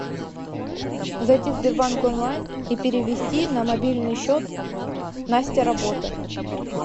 зайти в сбербанк онлайн и перевести на мобильный счет настя работа